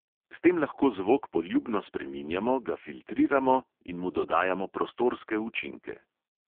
S tem lahko zvok poljubno spreminjamo, ga filtriramo in mu dodajamo prostorske učinke.